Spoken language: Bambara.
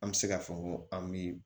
An bɛ se k'a fɔ ko an bɛ